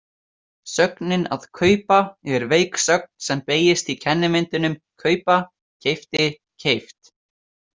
Sögnin að kaupa er veik sögn sem beygist í kennimyndum kaupa- keypti- keypt.